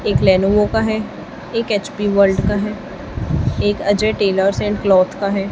एक लेनेवो का है एक एच_पी वर्ल्ड का है एक अजय टेलर्स एंड क्लॉथ का है।